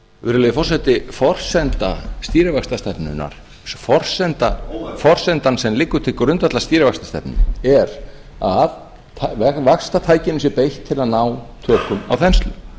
virðulegi forseti forsenda stýrivaxtastefnunnar forsendan sem liggur til grundvallar stýrivaxtastefnunni er að vaxtatækinu sé beitt til þess að ná tökum á þenslu